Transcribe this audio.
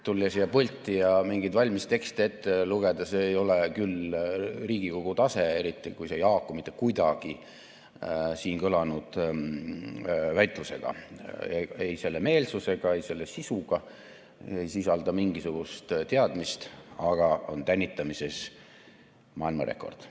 Tulla siia pulti ja mingeid valmis tekste ette lugeda, see ei ole küll Riigikogu tase, eriti kui see ei haaku mitte kuidagi siin kõlanud väitlusega, ei selle meelsusega, ei selle sisuga, ei sisalda mingisugust teadmist, aga on tänitamises maailmarekord.